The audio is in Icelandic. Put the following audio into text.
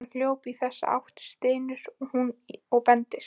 Hann hljóp í þessa átt, stynur hún og bendir.